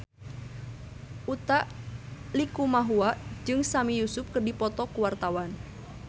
Utha Likumahua jeung Sami Yusuf keur dipoto ku wartawan